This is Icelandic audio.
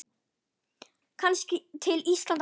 Kannski til Íslands aftur?